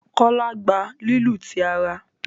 Kola gbà lílu tí àrà.